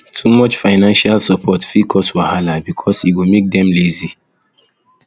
too much financial support fit cause wahala because e go make dem lazy